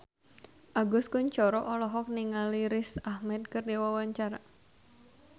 Agus Kuncoro olohok ningali Riz Ahmed keur diwawancara